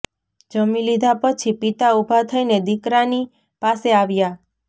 જમી લીધા પછી પિતા ઉભા થઈને દીકરાની પાસે આવ્યા